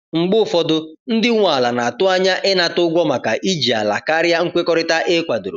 Mgbe ụfọdụ, ndị nwe ala na-atụ anya ịnata ụgwọ maka iji ala karịa nkwekọrịta e kwadoro.